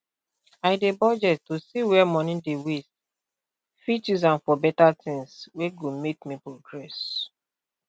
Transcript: i dey budget to see where money dey waste fit use am for better tins wey go make me progress